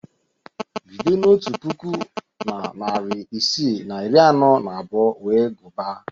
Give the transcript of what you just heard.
Bido n'otu puku na narị isii na iri anọ na abụọ wee gụbaa